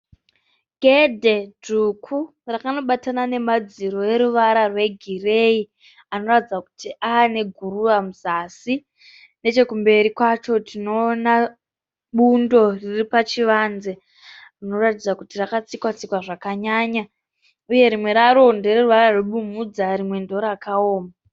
Gedhe dzvuku rakanobatana nemadziro eruvara rwegireyi anoratidza kuti ave neguruva muzasi. Nechekumberi kwacho tinoona bundo riri pachivanze rinoratidza kuti rakatsikwa- tsikwa zvakanyanya uye rimwe raro ndereruvara rwebumhudza uye rimwe ndiro rakaoma.